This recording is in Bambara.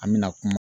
An bɛna kuma